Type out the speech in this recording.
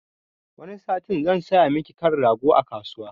Wani satin zan saya maki kan rago a kasuwa